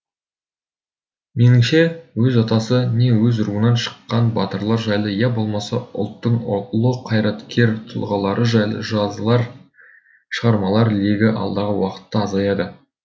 меніңше өз атасы не өз руынан шыққан батырлар жайлы я болмаса ұлттың ұлы қайраткер тұлғалары жайлы жазылар шығармалар легі алдағы уақытта азаяды